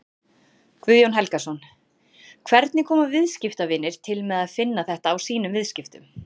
Guðjón Helgason: Hvernig koma viðskiptavinir til með að finna þetta á sínum viðskiptum?